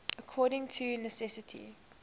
according to necessity